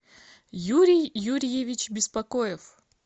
юрий юрьевич беспокоев